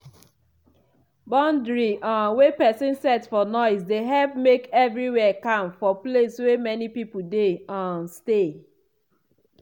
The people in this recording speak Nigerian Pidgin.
boundary um wey pesin set for noise dey help make everywhere calm for place wey many people dey um stay.